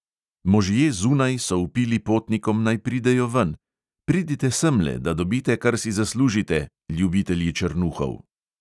Možje zunaj so vpili potnikom, naj pridejo ven: "pridite semle, da dobite, kar si zaslužite, ljubitelji črnuhov!"